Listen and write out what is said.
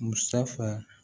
Musafa